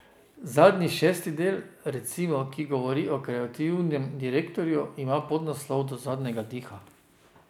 Zadnji, šesti del, recimo, ki govori o kreativnem direktorju, ima podnaslov Do zadnjega diha.